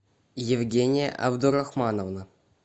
евгения абдурахмановна